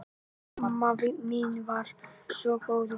Amma mín var svo góð og fín.